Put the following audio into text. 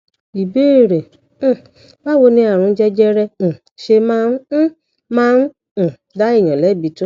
ìbéèrè um báwo ni àrùn jẹjẹrẹ um ṣe máa ń um máa ń um dá èèyàn lẹbi tó